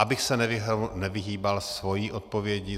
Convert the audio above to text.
Abych se nevyhýbal svojí odpovědi.